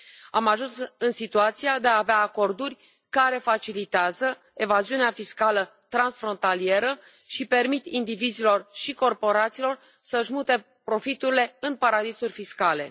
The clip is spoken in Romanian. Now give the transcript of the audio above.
Am ajuns în situația de a avea acorduri care facilitează evaziunea fiscală transfrontalieră și permit indivizilor și corporațiilor să își mute profiturile în paradisuri fiscale.